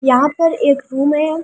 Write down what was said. यहां पर एक रूम है।